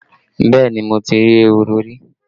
Yes, I have seen rabbits before